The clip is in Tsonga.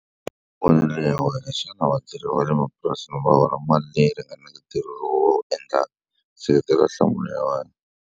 Hi mavonelo ya wena, xana vatirhi va le mapurasini va hola mali leyi ringaneke ntirho lowu va wu endlaka? Seketela nhlamulo ya wena.